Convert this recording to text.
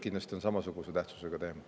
Helle-Moonika Helme, palun!